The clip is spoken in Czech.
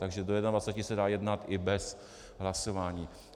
Takže do 21 se dá jednat i bez hlasování.